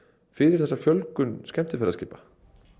fyrir þessa fjölgun skemmtiferðaskipa